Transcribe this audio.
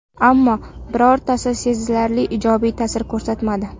Ammo, birortasi sezilarli ijobiy ta’sir ko‘rsatmadi.